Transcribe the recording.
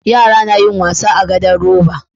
Yara nayin wasa a gado roba